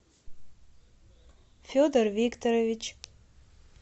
федор викторович